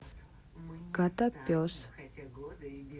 котопес